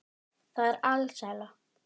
Það er alsæla.